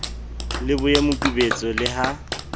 le boye mokubetso le ha